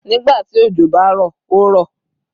Nigbati ojo ba ro, o ro